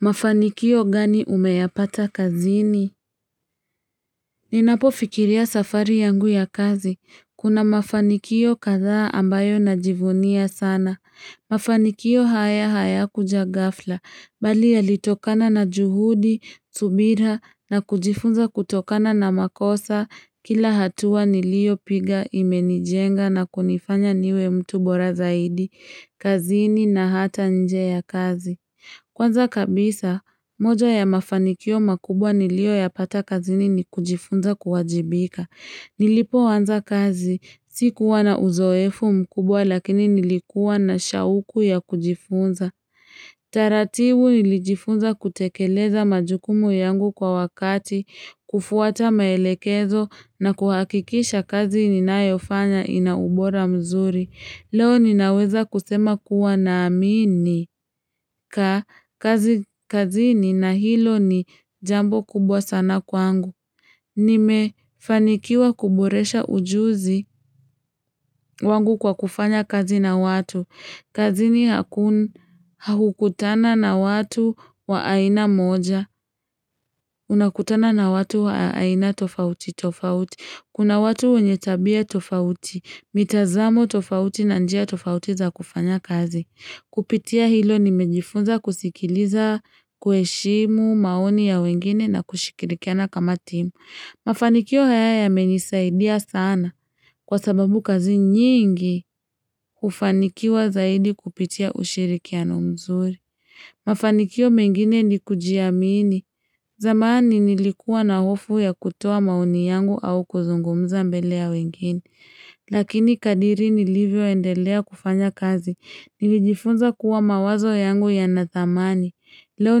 Mafanikio gani umeyapata kazini? Ninapofikiria safari yangu ya kazi. Kuna mafanikio kadhaa ambayo najivunia sana. Mafanikio haya haya kuja gafla. Bali yalitokana na juhudi, subira na kujifunza kutokana na makosa. Kila hatua niliyopiga, imenijenga na kunifanya niwe mtu bora zaidi. Kazini na hata nje ya kazi. Kwanza kabisa, moja ya mafanikio makubwa niliyo yapata kazini ni kujifunza kuwajibika. Nilipoanza kazi, sikuwa na uzoefu mkubwa lakini nilikuwa na shauku ya kujifunza. Taratibu nilijifunza kutekeleza majukumu yangu kwa wakati, kufuata maelekezo na kuhakikisha kazi ninayofanya ina ubora mzuri. Leo ninaweza kusema kuwa naamini ka kazi kazini na hilo ni jambo kubwa sana kwangu. Nimefanikiwa kuboresha ujuzi wangu kwa kufanya kazi na watu. Kazini hakukutana na watu wa aina moja, unakutana na watu wa aina tofauti, tofauti. Kuna watu wenye tabia tofauti, mitazamo tofauti na njia tofauti za kufanya kazi. Kupitia hilo nimejifunza kusikiliza kuheshimu maoni ya wengine na kushikirikiana kama timu. Mafanikio haya yamenisaidia sana kwa sababu kazi nyingi kufanikiwa zaidi kupitia ushirikiano mzuri. Mafanikio mengine ni kujiamini zamani nilikuwa na hofu ya kutoa maoni yangu au kuzungumza mbele ya wengine. Lakini kadiri nilivyoendelea kufanya kazi, nilijifunza kuwa mawazo yangu yanathamani, leo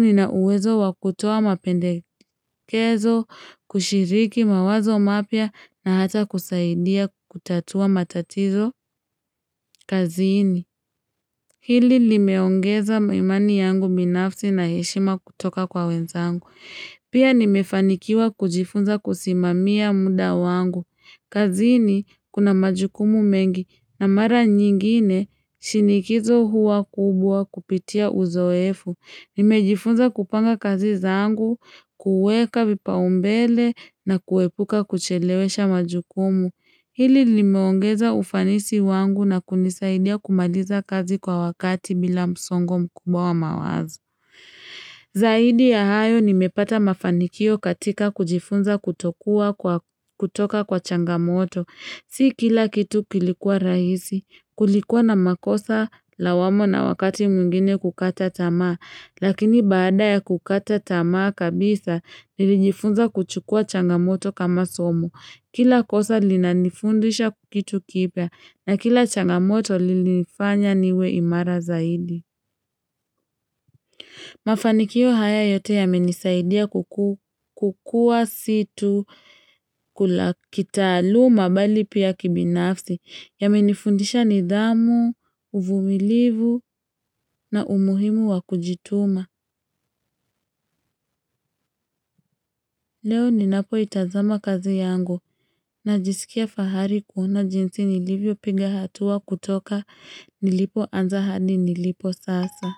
nina uwezo wa kutoa mapendekezo, kushiriki mawazo mapya na hata kusaidia kutatua matatizo kazini. Hili limeongeza imani yangu binafsi na heshima kutoka kwa wenzangu. Pia nimefanikiwa kujifunza kusimamia muda wangu. Kazini kuna majukumu mengi na mara nyingine shinikizo huwa kubwa kupitia uzoefu. Nimejifunza kupanga kazi zangu, kuweka vipaumbele na kuepuka kuchelewesha majukumu. Hili limeongeza ufanisi wangu na kunisaidia kumaliza kazi kwa wakati bila msongo mkubwa wa mawazo. Zaidi ya hayo nimepata mafanikio katika kujifunza kutoka kwa changamoto. Si kila kitu kilikuwa rahisi, kulikuwa na makosa lawama na wakati mwingine kukata tamaa. Lakini baada ya kukata tamaa kabisa, nilijifunza kuchukua changamoto kama somo. Kila kosa linanifundisha kitu kipya, na kila changamoto lilinifanya niwe imara zaidi. Mafanikio haya yote yamenisaidia kukua si tu kitaaluma bali pia kibinafsi. Yamenifundisha nidhamu, uvumilivu na umuhimu wa kujituma. Leo ninapoitazama kazi yangu najisikia fahari kuona jinsi nilivyopiga hatua kutoka nilipoanza hadi nilipo sasa.